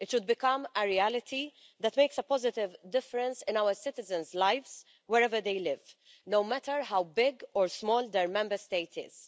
It should become a reality that makes a positive difference in our citizens' lives wherever they live, no matter how big or small their Member State is.